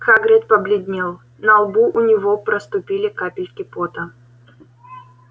хагрид побледнел на лбу у него проступили капельки пота